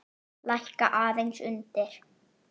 Lækka aðeins undir.